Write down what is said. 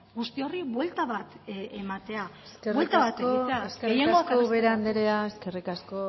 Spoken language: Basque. guzti horri buelta bat ematea eskerrik asko buelta bat ematea gehiengoak eskerrik asko ubera anderea eskerrik asko